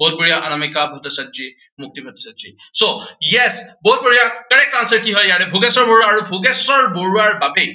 বহুত বঢ়িয়া Anamika Bhattacharya, Mukti Bhattacharya. so, yes বহুত বঢ়িয়া, correct answer কি হয় ইয়াৰে ভোগেশ্বৰ বৰুৱা। আৰু ভোগেশ্বৰ বৰুৱাৰ বাবেই